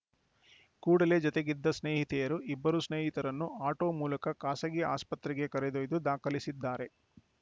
ಕೂಡಲೇ ಜತೆಗಿದ್ದ ಸ್ನೇಹಿತೆಯರು ಇಬ್ಬರು ಸ್ನೇಹಿತರನ್ನು ಆಟೋ ಮೂಲಕ ಖಾಸಗಿ ಆಸ್ಪತ್ರೆಗೆ ಕರೆದೊಯ್ದು ದಾಖಲಿಸಿದ್ದಾರೆ